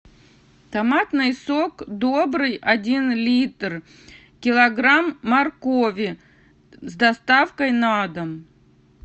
томатный сок добрый один литр килограмм моркови с доставкой на дом